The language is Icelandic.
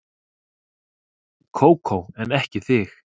Kókó en ekki þig.